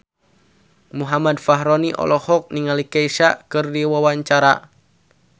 Muhammad Fachroni olohok ningali Kesha keur diwawancara